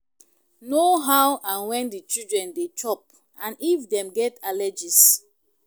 Know how and when di children dey chop and if dem get allergies